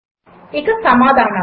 ఇక సమాధానాలు 1